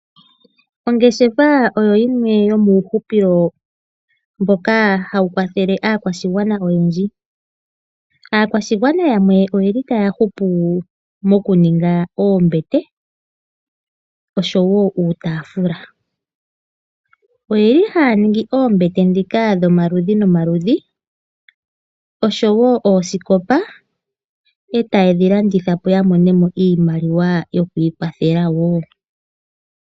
Ongeshefa oyo yimwe yomuuhupilo mboka hawu kwathele aakwashigwana oyendji. Aakwashigwana yamwe oyeli taya hupu mokuninga oombete oshowo uutaafula. Oyeli haya ningi oombete ndhika dhomaludhi nomaludhi oshowo oosikopa eta yedhi landithapo yamone iimaliwa yoku ikwathela woo.